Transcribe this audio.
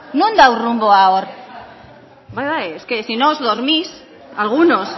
non dago runboa hor bai bai es que si no os dormís algunos